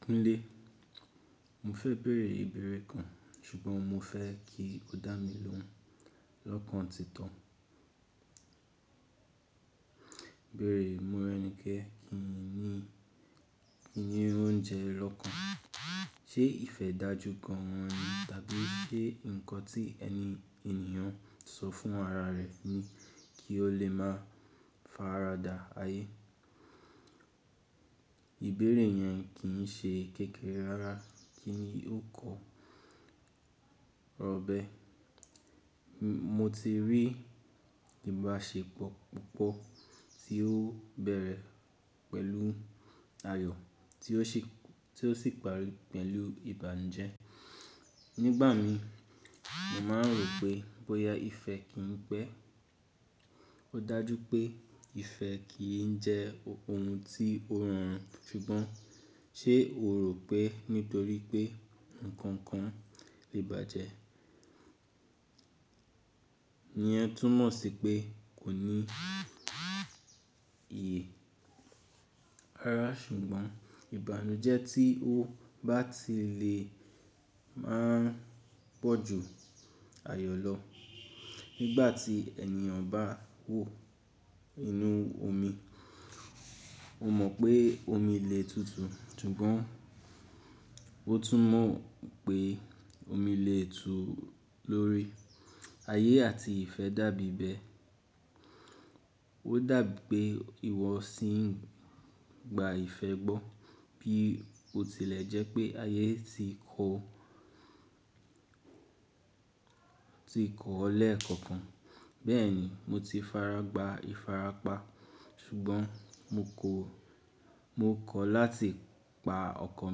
Kúnlé, mo fẹ́ bẹ̀rẹ̀ ìbéèrè kan ṣùgbọ́n mo fẹ́ kí o dá mi lóhùn lọ́kàn títọ. Ìbéèrè morenikẹ́, kí ni ìní oúnjẹ lọ́kàn? Ṣé ìfẹ́ dájú gan an ni? Tàbí ṣé nǹkan tí ẹni ènìyàn sọ fún ara rẹ̀ ni kí ó lè máa faradà ayé? Ìbéèrè yẹn kì í ṣe kékeré rárá kí ni o kọ, ra obe, Mo ti rí ìbáṣepọ̀ púpọ̀ tí ó bẹ̀rẹ̀ pẹ̀lú ayọ̀ tí ó shì- ti o si parí pẹ̀lú ibànuje Nígbà mi, mo máa rò pé bóyá ìfẹ́ kì í pẹ́. O dájú pé ìfẹ́ kì í jẹ́ ohun tí ó rọrùn ṣùgbọ́n ṣé o rò pé nítorí pé nǹkan kan lè bàjẹ́ iyen túmọ̀ sí pé kò ní iye? Rárá, ṣùgbọ́n ìbànújẹ́ tí ó bá ti lè máa pọ́ ju ayọ̀ lọ. Nígbà tí ènìyàn bá wò inú omi, ó mọ̀ pé omi lè tutù, ṣùgbọ́n ó tún mọ̀ pé omi lè tú lórí. Ayé àti ìfẹ́ dàbí bẹ́ẹ̀. Ó dàbí pé ìwọ sì ń gba ìfẹ́ gbọ́ bí ó tilẹ̀ jẹ́ pé ayé ti o ti kọ̀ ọ́ lẹ́ẹ̀kọ̀kan. Bẹ́ẹ̀ ni, mo ti fara gbá ìfarapa, ṣùgbọ́n mo ko--- mo kọ̀ láti pa ọkàn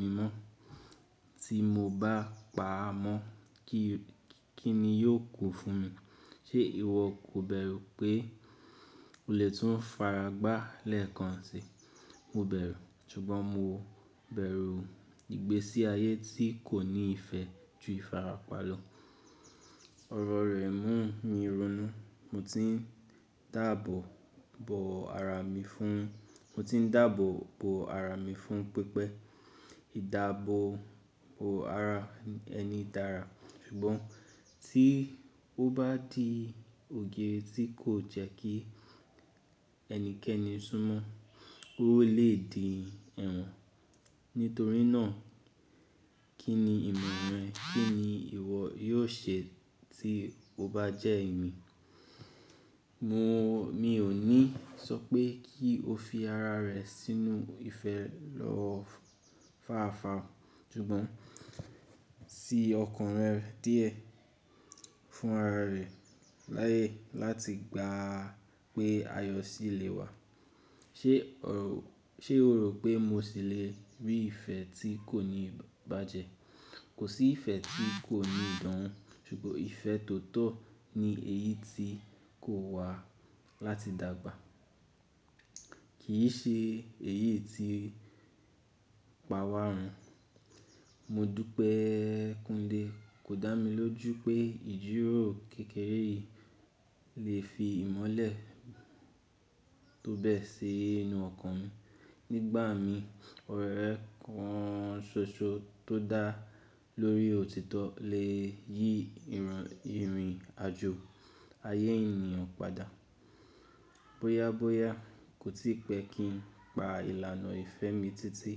mi mọ́. Tí mo bá pa á mọ́, ki--- kí ni yóò kù fún mi? Ṣé ìwọ kò bẹ̀rù pé o lè tún fara gbá lẹ́ẹ̀kan sì? Mo bẹ̀rù, ṣùgbọ́n mo bẹ̀rù ìgbésí ayé tí kò ní ìfẹ́ ju ìfarapa lọ. Ọ̀rọ̀ rẹ mú mi ronú. Mo tin dabo bo ara mi fun. Mo ti ń dàbọ̀ bo ara mi fún pípẹ́. Ìdábo bo ara ẹni dára, ṣùgbọ́n tí ó bá di òge tí kò jẹ́ kí ẹnikẹ́ni súnmọ̀, ó lè di ẹ̀wọ̀n. Nítorí náà, kí ni ìmọ̀ rẹ, kí ni ìwọ yóò ṣe tí o bá jẹ́ èmi? Mi ò ní sọ pé kí o fi ara rẹ sínú ìfẹ́ lọ fár-far ṣùgbọ́n sí ọkàn rẹ díẹ̀ fún ara rẹ láyè láti gba pé ayọ̀ sì lè wà. Ṣé o rò pé mo sì lè rí ìfẹ́ tí kò ní bàjẹ́? Kò sí ìfẹ́ tí kò ní ìdánwo, ṣùgbọ́n ìfẹ́ tótọ̀ ni èyí tí kò wà láti dàgbà. Kì í ṣe èyí tí ipa wa run. Mo dú pé Kúnlé kò dá mi lójú pé ìjíròrò kékeré yìí lè fi ìmọ́lẹ̀ tó bẹ́ẹ̀ sí inú ọkàn mi. Nígbà mi, ọ̀rẹ́ kan ṣoṣo tó dá lórí òtítọ́ lè yí ìrìnàjò ayé ènìyàn padà. Bóyá bóyá kò tí pẹ́ kí n pa ìlànà ìfẹ́ mi títí.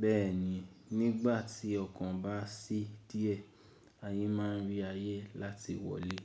Bẹ́ẹ̀ ni, nígbà tí ọkàn bá ṣí díẹ̀, ayé máa rí ayé láti wọlé.